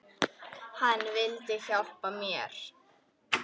Hann vildi hjálpa mér.